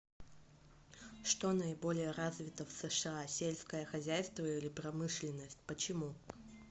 что наиболее развито в сша сельское хозяйство или промышленность почему